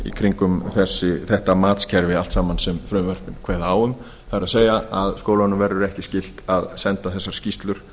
kringum þetta matskerfi allt saman sem frumvarpið kveður á það er að skólanum verði ekki skylt að senda þessar skýrslur